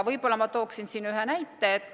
Võib-olla ma tooksin siin ühe näite.